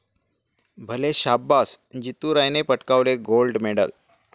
भले शाब्बास, जितू रायने पटकावले गोल्ड मेडल